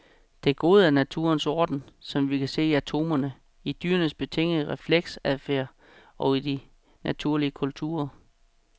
Det gode er naturens orden, som vi kan se i atomerne, i dyrenes betingede refleksadfærd og i de naturlige kulturer.